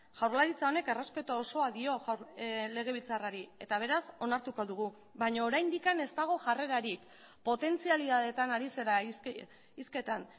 jaurlaritza honek errespetu osoa dio legebiltzarrari eta beraz onartuko dugu baina oraindik ez dago jarrerarik potentzialidadeetan ari zara hizketan